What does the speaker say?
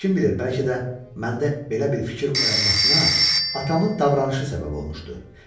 Kim bilir, bəlkə də məndə belə bir fikir oyanmasına atamın davranışı səbəb olmuşdu.